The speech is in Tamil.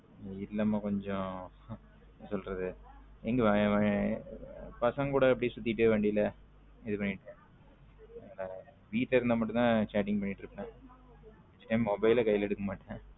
வீட்ல மா கொஞ்சம் என்ன சொல்ல்றது பசங்க குட சுத்திட்டே வண்டில இது பண்ணிட்டு வீட்ல இருந்த மட்டும் chatting பண்ணிட்டு இருப்பேன் ஏன் mobile ல கைல எடுக்கமாட்டேன்.